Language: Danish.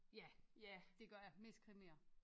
Ja det gør jeg mest krimier